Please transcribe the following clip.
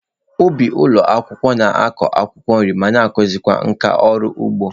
Ụbị ụlọ akwụkwọ na-akụ akwụkwọ nri ma na-akụzikwa nkà ọrụ ugbo.